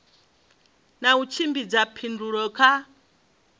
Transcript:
na u tshimbidza phindulo kha